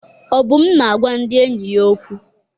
Obum na-agwa ndị enyi ya okwu.